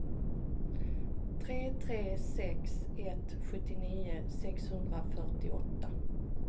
tre tre sex ett sjuttionio sexhundrafyrtioåtta